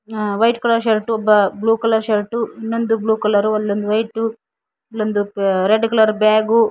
white colour shirt blue colour shirt ಇನ್ನೊಂದು blue colour white ಇಲ್ಲೊಂದು red colour bag --